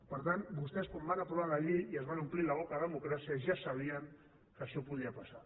per tant vostès quan van aprovar la llei i es van omplir la boca de democràcia ja sabien que això podia passar